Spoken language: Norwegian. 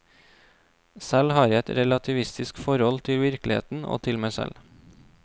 Selv har jeg et relativistisk forhold til virkeligheten og til meg selv.